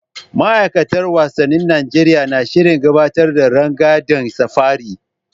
Ma'aikatar wasannin Najeriya na shirin gabatar da rangadin safari.